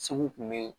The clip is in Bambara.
Segu tun bɛ yen